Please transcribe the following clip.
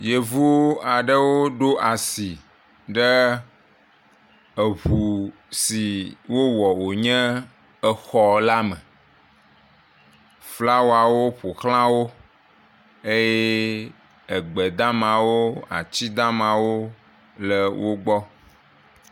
Yevu aɖewo ɖo asi ɖe ŋu si wowɔ wonye exɔ la me, flawawo ƒoʋlãwo eye egbedamawo, atidamawo le wogbɔ.